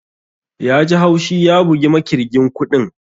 Yaji haushi ya bugi makirgin kuɗin